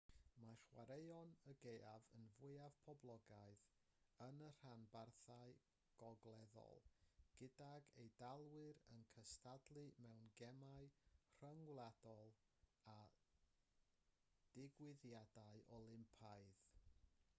mae chwaraeon y gaeaf yn fwyaf poblogaidd yn y rhanbarthau gogleddol gydag eidalwyr yn cystadlu mewn gemau rhyngwladol a digwyddiadau olympaidd